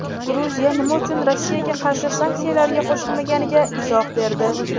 Gruziya nima uchun Rossiyaga qarshi sanksiyalarga qo‘shilmaganiga izoh berdi.